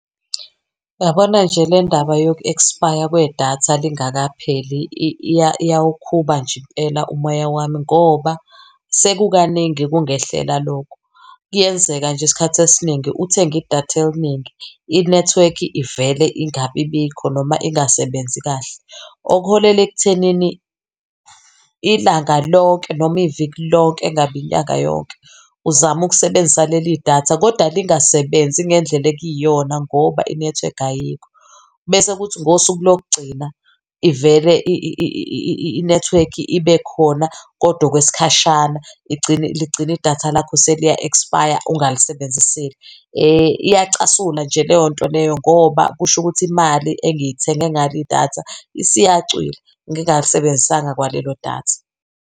Yabona nje le ndaba yoku-expire kwedatha lingakapheli iyawukhuba nje impela umoya wami, ngoba sekukaningi kungehlela lokhu. Kuyenzeka nje isikhathi esiningi uthenge idatha elningi inethiwekhi ivele ingabibikho noma ingasebenzi kahle. Okuholela ekuthenini ilanga lonke noma iviki lonke engabe inyanga yonke, uzame ukusebenzisa leli datha kodwa lingasebenzi ngendlela ekuyiyona ngoba inethiwekhi ayikho. Bese kuthi ngosuku lokugcina ivele inethiwekhi ibe khona kodwa okwesikhashana ligcine idatha lakho seliya-expire ungalisebenzisile. Iyacasula nje leyo nto leyo, ngoba kusho ukuthi imali engiyithenge ngalo idatha isiyacwila ngingalisebenzisanga kwalelo datha.